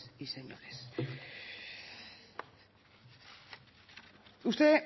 y señores usted